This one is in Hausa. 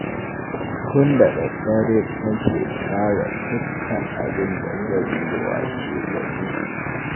Tun da daddare nake tsara dukkan abin da zan yi washegari